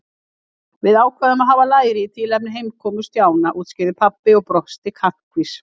Við ákváðum að hafa læri í tilefni heimkomu Stjána útskýrði pabbi og brosti kankvís.